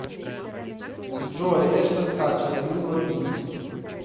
джой эштен катчер и мила кунис